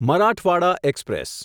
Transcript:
Marathwada express